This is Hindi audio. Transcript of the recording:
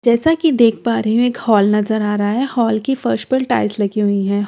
जैसा की देख पा रही हूँ एक हॉल नज़र आ रहा है हॉल की फर्स पर टाइल्स लगी हुई हैं हॉल के--